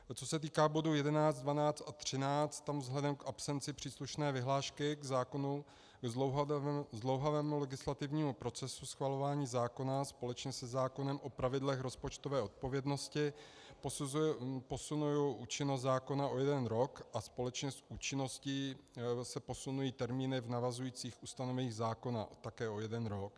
Co se týká bodů 11, 12 a 13, tam vzhledem k absenci příslušné vyhlášky k zákonu, k zdlouhavému legislativnímu procesu schvalování zákona společně se zákonem o pravidlech rozpočtové odpovědnosti posunuji účinnost zákona o jeden rok a společně s účinností se posunují termíny v navazujících ustanoveních zákona také o jeden rok.